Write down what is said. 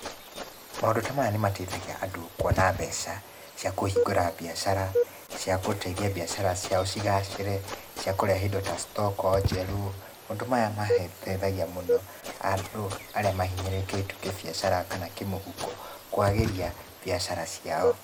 Maũndũ ta maya nĩmateithagia andũ kũona mbeca cia kũhingũra biacara, cia gũteithia biacara ciao cigacĩre, cia kũrehe indo ta stoko njerũ, maũndũ maya mateithagia mũno andũ arĩa mahinyĩrĩrĩkĩte kĩbiacara kana kĩmũhuko, kwagĩria biacara ciao.